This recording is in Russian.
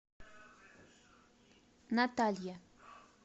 наталья